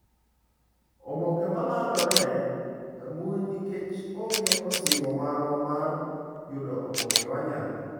Oboke ma landore e mbui nikech onge osimbo marwa mar yudo oboke Wanyalo.